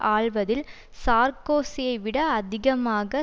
ஆள்வதில் சார்க்கோசியை விட அதிகமாக